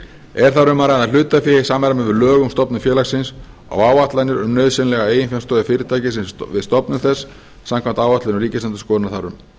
er þar um að ræða hlutafé í samræmi við lög um stofnun félagsins og áætlanir um nauðsynlega eiginfjárstöðu fyrirtækisins við stofnun þess samkvæmt áætlunum ríkisendurskoðunar þar um